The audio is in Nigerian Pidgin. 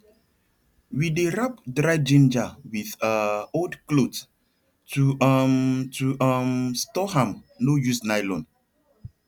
we dey wrap dry ginger with um old cloth to um to um store am no use nylon